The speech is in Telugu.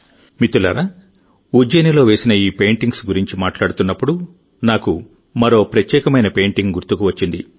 మిత్రులారాఉజ్జయినిలో వేసిన ఈ పెయింటింగ్స్ గురించి మాట్లాడుతున్నప్పుడు నాకు మరో ప్రత్యేకమైన పెయింటింగ్ గుర్తుకు వచ్చింది